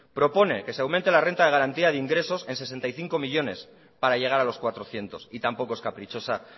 propone que se aumente la renta de garantía de ingresos en sesenta y cinco millónes para llegar a los cuatrocientos y tampoco es caprichosa